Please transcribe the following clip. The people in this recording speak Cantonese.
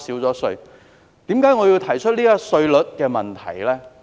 為甚麼我要提出稅率的問題？